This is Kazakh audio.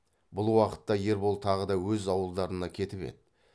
бұл уақытта ербол тағы да өз ауылдарына кетіп еді